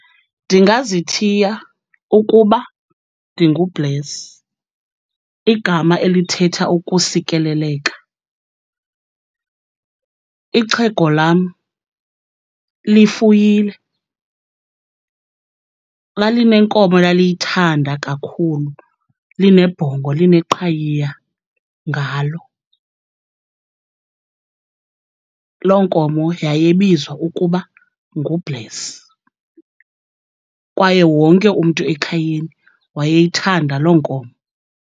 Ndingazithiya ukuba ndinguBless, igama elithetha ukusikeleleka. Ixhego lam lifuyile. Lalinenkomo elaliyithanda kakhulu, linebhongo lineqhayiya ngalo. Loo nkomo yayibizwa ukuba nguBless, kwaye wonke umntu ekhayeni wayeyithanda loo nkomo.